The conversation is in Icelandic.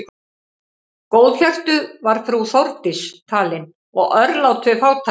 Góðhjörtuð var frú Þórdís talin og örlát við fátæka.